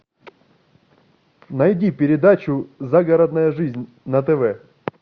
найди передачу загородная жизнь на тв